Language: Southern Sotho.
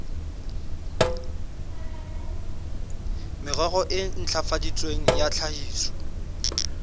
merero e ntlafaditsweng ya tlhahiso